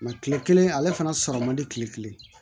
kile kelen ale fana sɔrɔ man di tile kelen